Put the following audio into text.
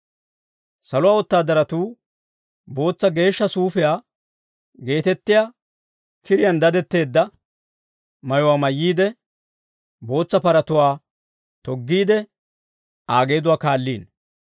Saluwaa wotaadaratuu bootsa geeshsha suufiyaa geetettiyaa kiriyaan dadetteedda mayuwaa mayyiide, bootsa paratuwaa toggiide, Aa geeduwaa kaalliino.